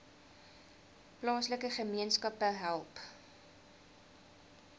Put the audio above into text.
plaaslike gemeenskappe help